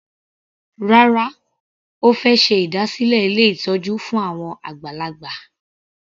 Rárá, Ó fẹ́ ṣe ìdásílẹ̀ ilé ìtọ́jú fún àwọn àgbàlagbà.